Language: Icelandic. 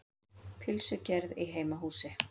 Pylsugerð í heimahúsi.